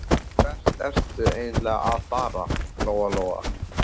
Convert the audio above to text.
Hvert ertu eiginlega að fara, Lóa Lóa?